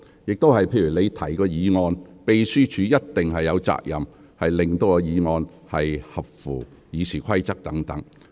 就議員提出的議案，秘書處有責任就議案是否符合《議事規則》提供意見。